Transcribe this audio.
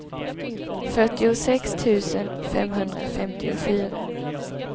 fyrtiosex tusen femhundrafemtiofyra